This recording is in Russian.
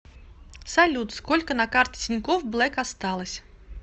салют сколько на карте тинькофф блэк осталось